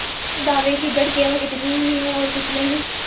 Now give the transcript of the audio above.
इस दावे की जड़ केवल इतनी ही है और कुछ नहीं